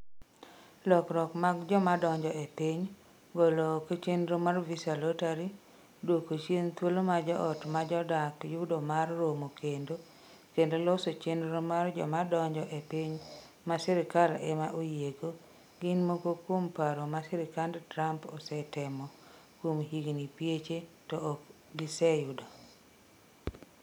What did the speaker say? Lokruok mag joma donjo e piny: Golo oko chenro mar Visa lottery, dwoko chien thuolo ma joot ma jodak yudo mar romo kendo, kendo loso chenro mar joma donjo e piny ma sirkal ema oyiego, gin moko kuom paro ma sirkand Trump osetemo kuom higini pieche to ok giseyudo.